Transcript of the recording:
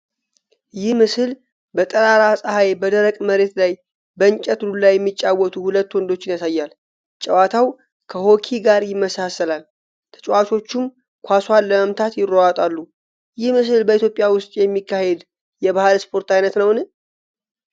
ይህ ምስል በጠራራ ፀሐይ በደረቅ መሬት ላይ በእንጨት ዱላ የሚጫወቱ ሁለት ወንዶችን ያሳያል። ጨዋታው ከሆኪ ጋር ይመሳሰላል፤ ተጫዋቾቹም ኳሷን ለመምታት ይሯሯጣሉ። ይህ ምስል በኢትዮጵያ ውስጥ የሚካሄድ የባህል ስፖርት ዓይነት ነውን?